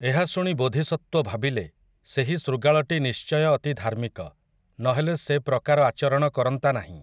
ଏହା ଶୁଣି ବୋଧିସତ୍ତ୍ୱ ଭାବିଲେ, ସେହି ଶୃଗାଳଟି ନିଶ୍ଚୟ ଅତି ଧାର୍ମିକ, ନ ହେଲେ ସେ ପ୍ରକାର ଆଚରଣ କରନ୍ତା ନାହିଁ ।